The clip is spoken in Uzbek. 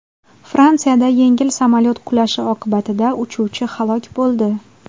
Fransiyada yengil samolyot qulashi oqibatida uchuvchi halok bo‘ldi.